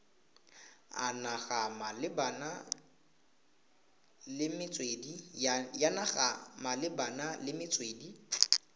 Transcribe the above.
ya naga malebana le metswedi